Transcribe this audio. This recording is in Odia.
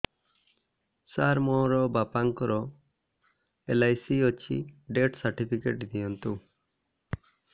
ସାର ମୋର ବାପା ଙ୍କର ଏଲ.ଆଇ.ସି ଅଛି ଡେଥ ସର୍ଟିଫିକେଟ ଦିଅନ୍ତୁ